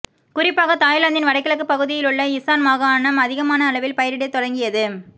குறிப்பாக தாய்லாந்தின் வடகிழக்குப் பகுதியிலுள்ள இசான் மாகாணம் அதிகமான அளவில் பயிரிடத் தொடங்கியது